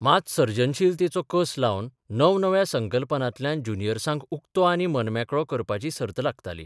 मात सर्जनशीलतेचो कस लावन नवनव्या कल्पनांतल्यान ज्युनियसाँक उक्तो आनी मनमेकळो करपाची सर्त लागताली.